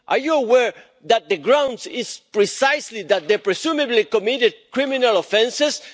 Are you aware that the grounds are precisely that they have presumably committed criminal offences?